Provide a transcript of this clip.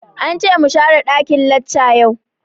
Ance mu share ɗakin lacca yau